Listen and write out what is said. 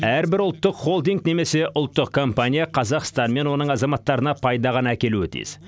әрбір ұлттық холдинг немесе ұлттық компания қазақстан мен оның азаматтарына пайда ғана әкелуі тиіс